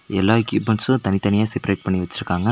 எல்லா எக்யூப்மெண்ட்ஸு தனித்தனியா செப்ரேட் பண்ணி வெச்சிருக்காங்க.